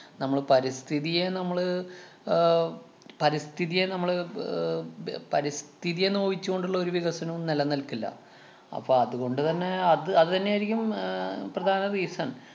നമ്മള് പരിസ്ഥിതിയെ നമ്മള് അഹ് പരിസ്ഥിതിയെ നമ്മള് ആഹ് ബ~ പരിസ്ഥിതിയെ നോവിച്ച് കൊണ്ടുള്ള ഒരു വികസനവും നെലനില്‍ക്കില്ല. അപ്പൊ അതുകൊണ്ടുതന്നെ അത് അത് തന്നെയായിരിക്കും ഉം ആഹ് പ്രധാന reason